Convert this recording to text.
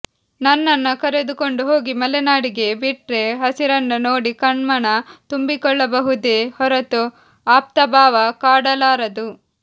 ನನ್ನನ್ನ ಕರಕೊಂಡು ಹೋಗಿ ಮಲೆನಾಡಿಗೆ ಬಿಟ್ರೆ ಹಸಿರನ್ನ ನೋಡಿ ಕಣ್ಮನ ತುಂಬಿಕೊಳ್ಳಬಹುದೇ ಹೊರತು ಆಪ್ತಭಾವ ಕಾಡಲಾರದು